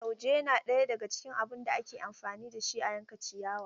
Lauje na ɗaya daga cikin abun da ake amfani da shi a yanka ciyawa.